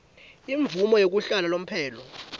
imvumo yekuhlala lomphelo